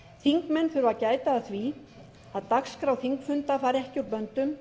þingmenn þurfa að gæta að því að dagskrá þingfunda fari ekki úr böndum